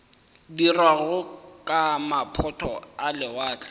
dirwago ke maphoto a lewatle